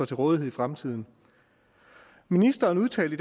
til rådighed i fremtiden ministeren udtalte